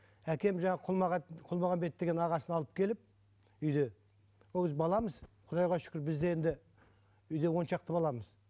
әкем жаңағы құлмағанбет деген ағасын алып келіп үйде ол кезде баламыз құдайға шүкір бізде енді үйде он шақты баламыз